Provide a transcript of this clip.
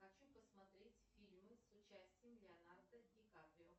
хочу посмотреть фильмы с участием леонардо ди каприо